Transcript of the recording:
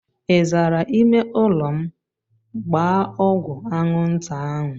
Ị zara ịme ụlọ m? Gbaa ọgwụ anwụnta ahụ!